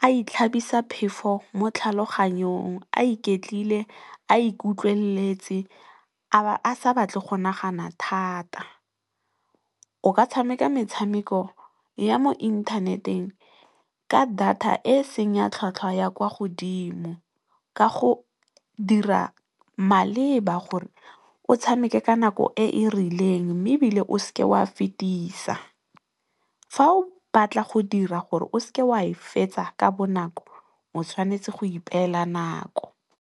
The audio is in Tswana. a itlhabisa phefo mo tlhaloganyong a iketlile, a ikutlweletse, a sa batle go nagana thata. O ka tshameka metshameko ya mo inthaneteng ka data e seng ya tlhwatlhwa ya kwa godimo ka go dira maleba gore o tshameke ka nako e e rileng mme, ebile o se ke wa fetisa, fa o batla go dira gore o se ke wa e fetsa ka bonako o tshwanetse go ipela nako.